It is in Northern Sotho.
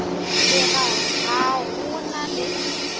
re ga go na le